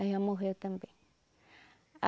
Aí ela morreu também.